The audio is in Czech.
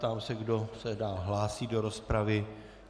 Ptám se, kdo se dál hlásí do rozpravy.